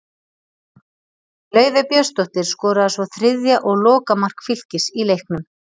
Laufey Björnsdóttir skoraði svo þriðja og lokamark Fylkis í leiknum.